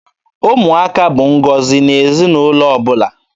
Ụmụaka bụ ngọzi n'ezinaụlọ ọbụla.